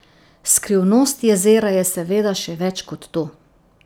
Skrivnost jezera je seveda še več kot to.